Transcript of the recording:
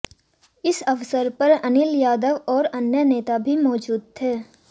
इस अवसर पर अनिल यादव और अन्य नेता भी मौजूद थे